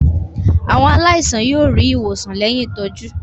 Àwọn aláìsàn yóò rí ìwòsàn lẹ́yìn ìtọ́jú.